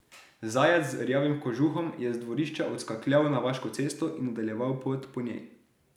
Zajec z rjavim kožuhom je z dvorišča odskakljal na vaško cesto in nadaljeval pot po njej.